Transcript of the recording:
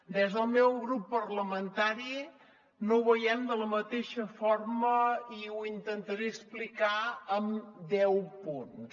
des del meu grup parlamentari no ho veiem de la mateixa forma i ho intentaré explicar amb deu punts